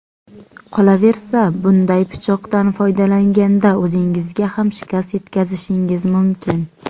Qolaversa, bunday pichoqdan foydalanganda o‘zingizga ham shikast yetkazishingiz mumkin.